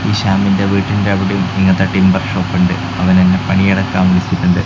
ശ്യാമിന്റെ വീട്ടിന്റെ അവിടെയും ഇങ്ങനത്തെ ടിമ്പർ ഷോപ്പ് ഉണ്ട് അവൻ എന്നെ പണിയെടുക്കാൻ വിളിച്ചിട്ടുണ്ട്.